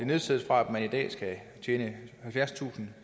nedsættes fra at man i dag skal tjene halvfjerdstusinde